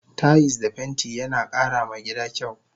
Tayis da fenti yana kara ma gida kyau